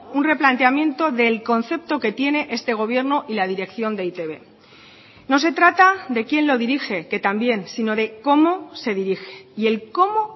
un replanteamiento del concepto que tiene este gobierno y la dirección de e i te be no se trata de quién lo dirige que también sino de cómo se dirige y el cómo